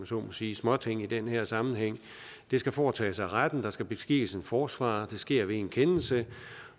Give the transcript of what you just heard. så må sige småting i den her sammenhæng det skal foretages af retten der skal beskikkes en forsvarer det sker ved en kendelse